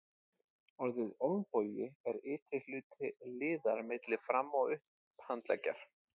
Orðið olnbogi er ytri hluti liðar milli fram- og upphandleggjar.